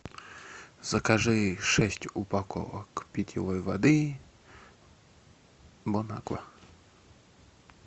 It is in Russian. закажи шесть упаковок питьевой воды бонаква